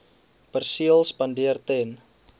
perseel spandeer ten